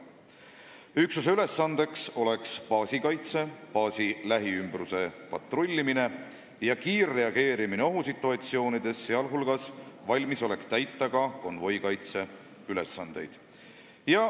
Üksuse ülesandeks oleks baasi kaitse, baasi lähiümbruses patrullimine ja kiirreageerimine ohusituatsioonides, sh valmisolek täita ka konvoikaitse ülesandeid.